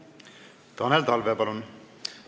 Tanel Talve, palun!